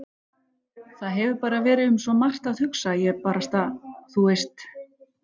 Það hefur bara verið um svo margt að hugsa að ég barasta. þú veist.